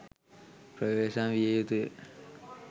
ප්‍රවේශම් විය යුතුය.